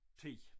10